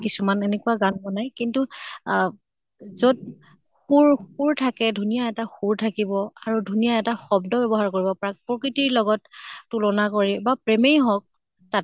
কিছুমান এনেকুৱা গান বনাই কিন্তু আ যʼত সুৰ সুৰ থাকে, ধুনীয়া এটা সুৰ থাকিব আৰু ধুনীয়া এটা শব্দ ব্য়ৱহাৰ কৰিব পাৰা, প্ৰকৃতিঅৰ লগত তুলনা কৰি বা প্ৰেমই হʼক তা